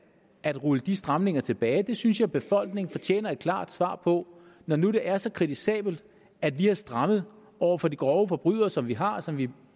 at rulle de stramninger tilbage det synes jeg befolkningen fortjener et klart svar på når nu det er så kritisabelt at vi har strammet over for de grove forbrydelser som vi har og som vi